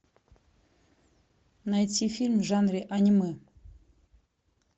найти фильм в жанре аниме